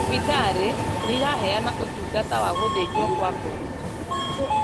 Thibitarĩ nĩiraheana ũtungata wa gũthĩnjwo kwa ngoro